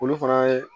Olu fana ye